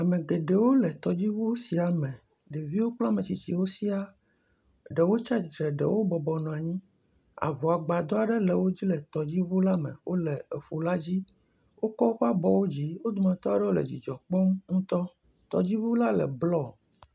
Ame geɖewo le tɔdziŋu sia me, ɖeviwo kple ame tsitsiwo siaa, ɖewo tsi atsitre, ɖewo bɔbɔnɔ anyi, avɔgbadɔ aɖe le wodzi le tɔdziŋu la me wole etɔ la dzi, wokɔ woƒe abɔwo dzi wo dometɔ aɖewo le dzidzɔ kpɔm ŋutɔ, tɔdziŋu la le blɔ.